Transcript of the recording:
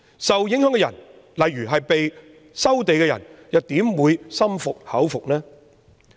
受影響人士如被收地的人又怎會心服口服呢？